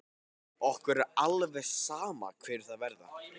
Okkur er alveg sama hverjir það verða.